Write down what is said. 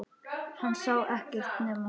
Hún sá ekkert nema hann!